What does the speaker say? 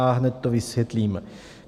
A hned to vysvětlím.